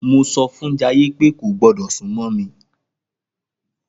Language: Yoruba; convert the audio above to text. Mo sọfún Jayé pé kò gbọdọ̀ súnmọ́ mí